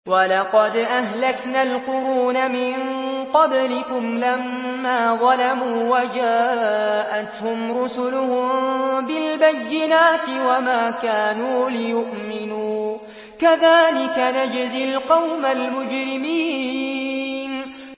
وَلَقَدْ أَهْلَكْنَا الْقُرُونَ مِن قَبْلِكُمْ لَمَّا ظَلَمُوا ۙ وَجَاءَتْهُمْ رُسُلُهُم بِالْبَيِّنَاتِ وَمَا كَانُوا لِيُؤْمِنُوا ۚ كَذَٰلِكَ نَجْزِي الْقَوْمَ الْمُجْرِمِينَ